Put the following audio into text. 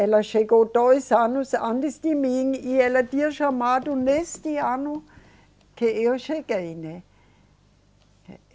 Ela chegou dois anos antes de mim e ela tinha chamado neste ano que eu cheguei, né?